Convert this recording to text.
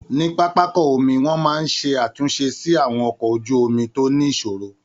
Ní pápákọ omi, wọn máa ń ṣe àtúnṣe sí àwọn ọkọ̀ ojú omi tó ní ìṣòro